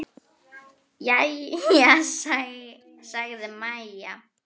Jæja, sagði María.